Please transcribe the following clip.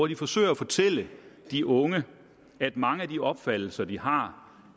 de forsøger at fortælle de unge at mange af de opfattelser de har